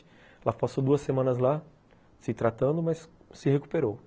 Ela passou duas semanas lá se tratando, mas se recuperou.